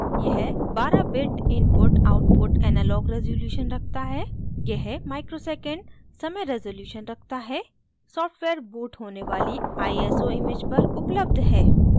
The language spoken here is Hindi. * यह 12 bit input/output analog रेज़ोल्यूशन रखता है